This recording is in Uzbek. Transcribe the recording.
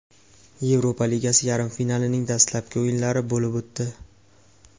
Yevropa Ligasi yarim finalining dastlabki o‘yinlari bo‘lib o‘tdi.